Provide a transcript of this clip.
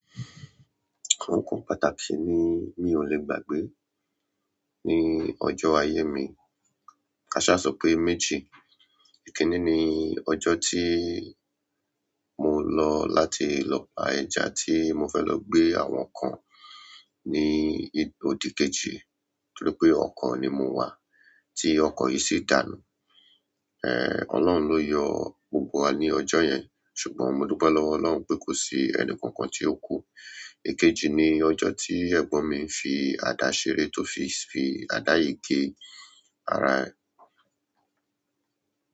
Àwọn nǹkan pàtàkì ni mi ò lè gbàgbé ní ọjọ́ ayé mi. Kaṣá sọ pé méjì. Ìkíni ní ọjọ tí mo lọ láti lọ pà ẹja tí mo fẹ́ lọ gbé àwọn kan ní òdì. Kejì torí pé ọkọ̀ ni mo wà tí ọkọ̀ yìí si dànù. Eh! Ọlọ́run ló yọ gbogbo wa ní ọjọ́ yẹn ṣùgbọ́n mo dúpẹ́ lọ́wọ́ Ọlọ́run pé kò sí ẹnì kankan tí ó kú. Èkejì ni ọjọ́ tí ẹ̀gbọ́n mi ń fi àdá ṣeré tó fi, fi àdá yìí gé ara.